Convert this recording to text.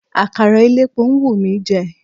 Àkàrà elépo ń wù mí jẹ.